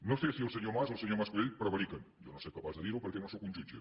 no sé si el senyor mas o el senyor mas colell prevariquen jo no sóc capaç de dir ho perquè no sóc un jutge